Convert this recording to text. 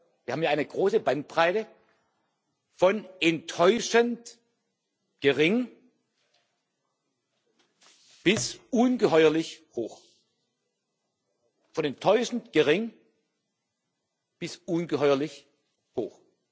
Wir haben ja eine große Bandbreite von enttäuschend gering bis ungeheuerlich hoch.